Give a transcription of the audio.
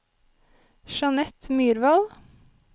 Jeanette Myrvold